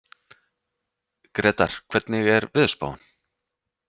Gretar, hvernig er veðurspáin?